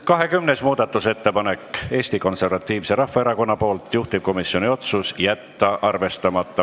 20. muudatusettepanek on Eesti Konservatiivselt Rahvaerakonnalt, juhtivkomisjoni otsus: jätta arvestamata.